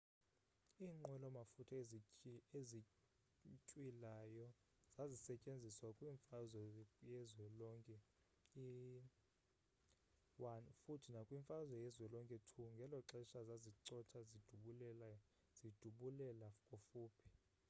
iinqwelo mafutha ezintywilayo zazisetyenziswa kwi-mfazwe yezwelonke i futhi nakwi-mfazwe yezwelonke ii ngeloxesha zazicotha zidubulela kufuphi